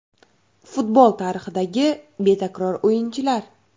Futbol tarixidagi betakror o‘yinchilar.